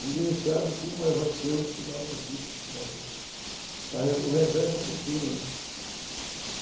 Ninguém sabe como vai ser o final da vida, o final do... A, o revés da fortuna, né?